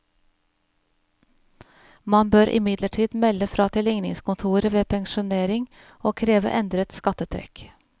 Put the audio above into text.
Man bør imidlertid melde fra til ligningskontoret ved pensjonering og kreve endret skattetrekk.